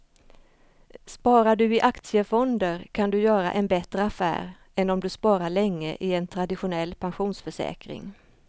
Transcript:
Sparar du i aktiefonder kan du göra en bättre affär än om du sparar länge i en traditionell pensionsförsäkring.